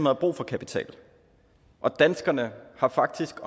har brug for kapital og danskerne har faktisk